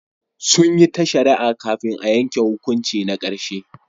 Sun yi ta shari'a kafin a yanke hukunci na karshe.